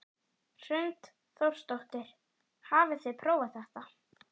Hrund Þórsdóttir: Hafið þið prófað þetta?